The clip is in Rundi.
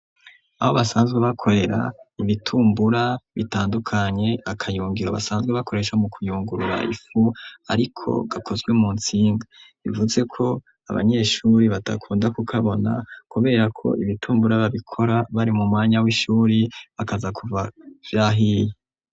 Aho basanzwe bakorera ibitumbura bitandukanye, akayungiro basanzwe bakoresha mu kuyungurura ifu ariko gakozwe mu ntsinga. Bivuze ko abanyeshuri batakunda kukabona kubera ko ibitumbura babikora bari mu mwanya w'ishuri bakaza kuza vyahiye.